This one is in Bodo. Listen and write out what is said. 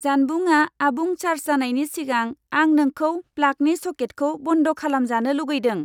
जानबुंआ आबुं चार्ज जानायनि सिगां आं नोंखौ प्लागनि सकेटखौ बन्द खलामजानो लुगैदों।